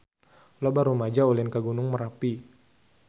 Loba rumaja ulin ka Gunung Merapi